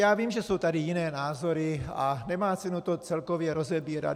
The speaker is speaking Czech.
Já vím, že jsou tady jiné názory, a nemá cenu to celkově rozebírat.